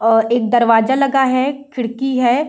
और एक दरवाजा लगा है खिड़की है।